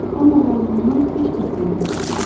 Amma varlığından heç bir xeyir yoxdur.